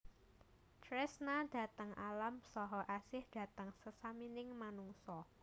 Tresna dhateng alam saha asih dhateng sesamining manungsa